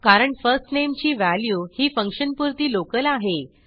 कारण first name ची value ही फंक्शनपुरती लोकल आहे